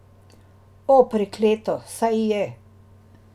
O, prekleto, saj je.